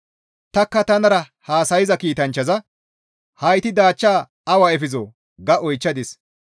Tanikka tanara haasayza kiitanchchaza, «Hayti daachchaa awa efizoo?» ga oychchadis.